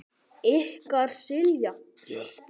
Ykkar Silja Björk.